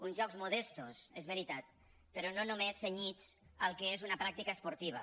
uns jocs modestos és veritat però no només cenyits al que és una pràctica esportiva